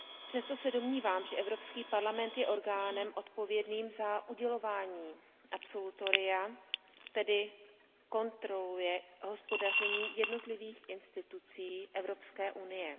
Přesto se domnívám, že Evropský parlament je orgánem odpovědným za udělování absolutoria, tedy kontroluje hospodaření jednotlivých orgánů a institucí Evropské unie.